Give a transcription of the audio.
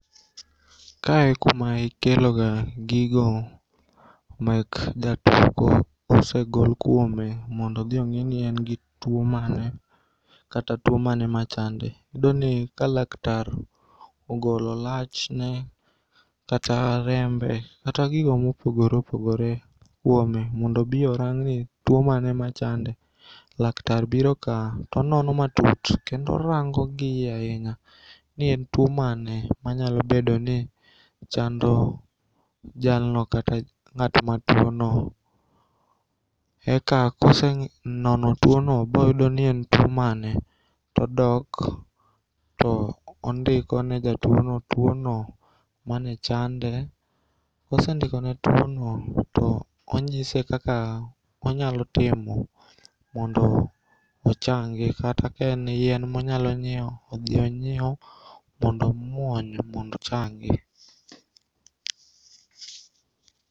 Kae e kuma ikeloga gigo mek jatuo kosegol kuome mondodhiong'i ni engi tuo mane kata tuo mane machande. Iyudoni ka laktar ogolo lachne kata rembe kata gigo mopogore opogore kuome mondo obii orangni tuo mane machande. Laktar biro kaa to onono matut kendo orango gi iye ainya ni en tuo mane manyalo bedoni chando jalno kata ng'at matuono eka kosenono tuono boyudoni en tuo mane todok to ondikone jatuono tuono manechande. Kosendikone tuono to onyise kaka onyalotimo mondo ochangi kata ka en yien monyalonyieo odhionyieu mondo omuony mondochangi.